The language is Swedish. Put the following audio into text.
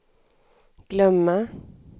glömma